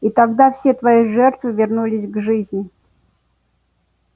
и тогда все твои жертвы вернулись к жизни